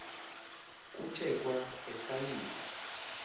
kuthe kwa esalika